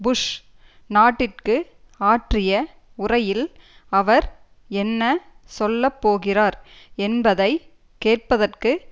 push நாட்டிற்கு ஆற்றிய உரையில் அவர் என்ன சொல்லப்போகிறார் என்பதை கேட்பதற்கு